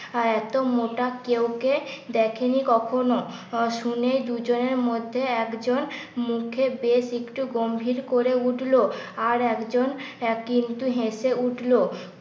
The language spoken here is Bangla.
এত মোটা কেউ কে দেখেনি কখনো। শুনে দুজনের মধ্যে একজন মুখে বেশ একটু গম্ভীর করে উঠলো আর একজন কিন্তু হেসে উঠলো।